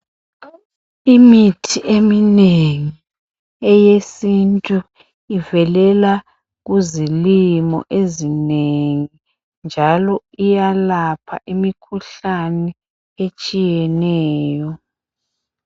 Imithi eminengi eyesintu ivelela kuzilimo ezinengi njalo iyalapha imikhuhlane eminengi etshiyeneyo